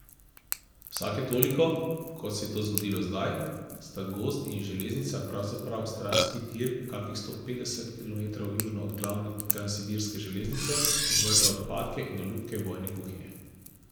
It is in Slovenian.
Vsake toliko, kot se je to zgodilo zdaj, sta gozd in železnica, pravzaprav stranski tir kakih sto petdeset kilometrov južno od glavne transsibirske železnice, odvrgla odpadke in olupke vojne kuhinje.